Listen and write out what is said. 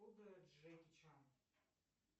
джеки чан